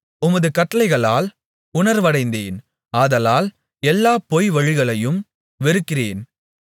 உமது கட்டளைகளால் உணர்வடைந்தேன் ஆதலால் எல்லாப் பொய்வழிகளையும் வெறுக்கிறேன்